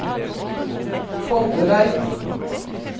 Foldereid